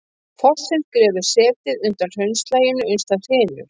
Fossinn grefur setið undan hraunlaginu uns það hrynur.